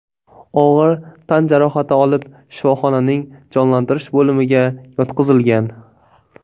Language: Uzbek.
og‘ir tan jarohati olib, shifoxonaning jonlantirish bo‘limiga yotqizilgan.